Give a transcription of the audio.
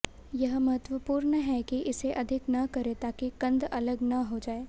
यह महत्वपूर्ण है कि इसे अधिक न करें ताकि कंद अलग न हो जाएं